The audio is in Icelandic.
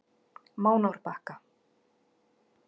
Mánárbakka